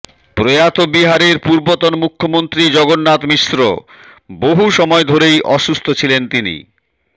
প্রয়াত বিহারের পূর্বতন মুখ্যমন্ত্রী জগন্নাথ মিশ্র বহু সময় ধরেই অসুস্থ ছিলেন তিনি